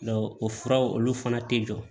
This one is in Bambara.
o furaw olu fana tɛ jɔ